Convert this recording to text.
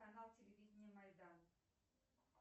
канал телевидения майдан